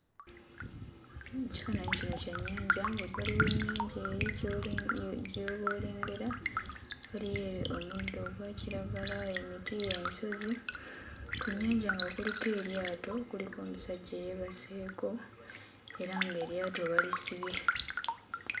Ekifaananyi kino kya nnyanja ng'ebbali w'ennyanja eri gy'oba olengera waliyo omuddo ogwa kiragala, emiti, ensozi, ku nnyanja nga kuliko eryato kuliko omusajja eyeebaseeko, era ng'eryato balisibye.